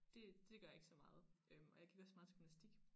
Det det gør jeg ikke så meget øh og jeg gik også meget til gymnastik